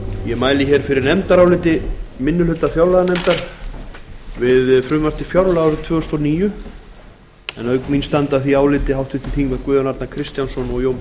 ég mæli fyrir nefndaráliti minni hluta fjárlaganefndar við frumvarp til fjárlaga árið tvö þúsund og níu auk mín standa að því áliti háttvirtir þingmenn guðjón arnar kristjánsson og jón